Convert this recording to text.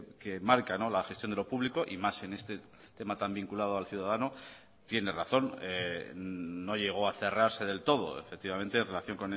que marca la gestión de lo público y más en este tema tan vinculado al ciudadano tiene razón no llegó a cerrarse del todo efectivamente en relación